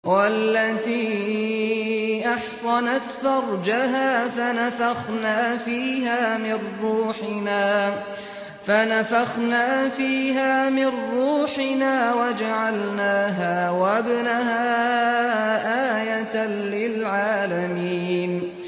وَالَّتِي أَحْصَنَتْ فَرْجَهَا فَنَفَخْنَا فِيهَا مِن رُّوحِنَا وَجَعَلْنَاهَا وَابْنَهَا آيَةً لِّلْعَالَمِينَ